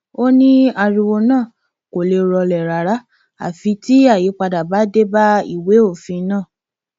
ó ní ariwo náà kò lè rọlẹ rárá àfi tí àyípadà bá dé bá ìwé òfin náà